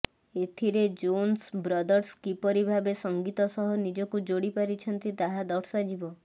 ଏଥିରେ Jonas Brothers କିପରି ଭାବେ ସଂଗୀତ ସହ ନିଜକୁ ଯୋଡ଼ି ପାରିଛନ୍ତି ତାହା ଦର୍ଶାଯିବ